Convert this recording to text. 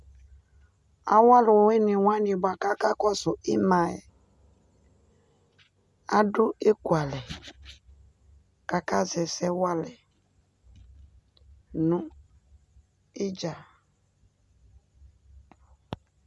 ayɔ alɔwini wani kakakʊsu adɔ ɛklaɛ kakazɛsɛ walɛ nu ɩtɣa